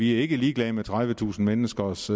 ikke ligeglade med tredivetusind menneskers